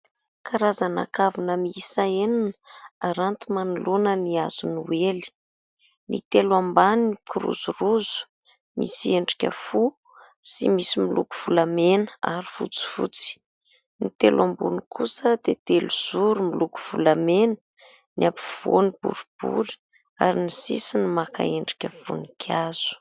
Karazana kavina miisa enina, aranty manoloana ny hazo noely. Ny telo ambany mikirozaroza, misy endrika fo sy misy miloko volamena ary fotsifotsy. Ny telo ambony kosa dia telo zoro, miloko volamena : ny ampovoany boribory, ary ny sisiny maka endrika voninkazo.